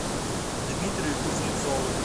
дмитрию кузнецову